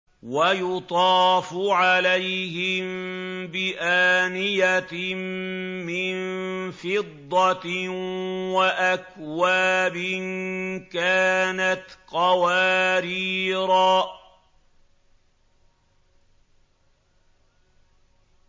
وَيُطَافُ عَلَيْهِم بِآنِيَةٍ مِّن فِضَّةٍ وَأَكْوَابٍ كَانَتْ قَوَارِيرَا